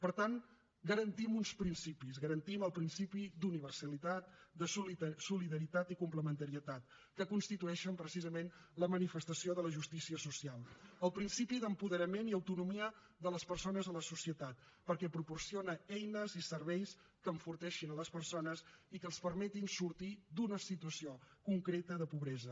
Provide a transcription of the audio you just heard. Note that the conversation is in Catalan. per tant garantim uns principis garantim els principis d’universalitat de solidaritat i complementarietat que constitueixen precisament la manifestació de la justícia social el principi d’apoderament i autonomia de les persones a la societat perquè proporciona eines i serveis que enforteixin les persones i que els permetin sortir d’una situació concreta de pobresa